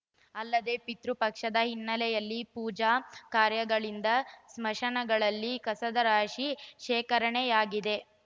ಅಲ್ಲದೆ ಪಿತೃಪಕ್ಷದ ಹಿನ್ನೆಲೆಯಲ್ಲಿ ಪೂಜಾ ಕಾರ್ಯಗಳಿಂದ ಸ್ಮಶಾನಗಳಲ್ಲಿ ಕಸದ ರಾಶಿ ಶೇಖರಣೆಯಾಗಿದೆ